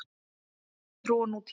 Kristin trú og nútíminn.